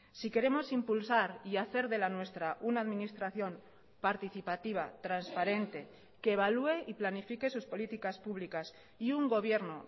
si queremos impulsar y hacer de la nuestra una administración participativa transparente que evalúe y planifique sus políticas públicas y un gobierno